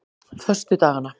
föstudagana